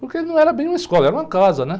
Porque não era bem uma escola, era uma casa, né?